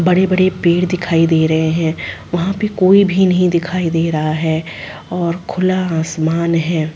बड़े-बड़े पेड़ दिखाई दे रहे है वहाँ पे कोई भी नहीं दिखाई दे रहा है और खुला आसमान है।